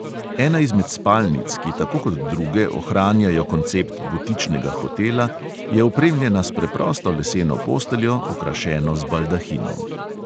Ena izmed spalnic, ki tako kot druge ohranjajo koncept butičnega hotela, je opremljena s preprosto leseno posteljo, okrašeno z baldahinom.